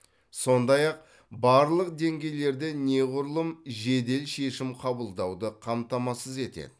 сондай ақ барлық деңгейлерде неғұрлым жедел шешім қабылдауды қамтамасыз етеді